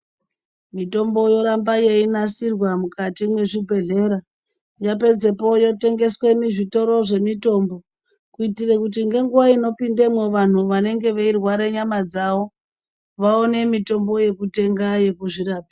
Mitombo yoramba yeinasirwa mukati mwezvibhendlera yopedza po yotengeswa muzvitoro zvemutombo. Kuitira kuti ngenguwa inopinda mwo vantu vanenge veirwara nyama dzavo vaone mitombo yekutenga yekuzvirapa.